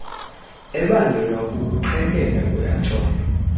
ebangelwa kukuqhekeka kweathom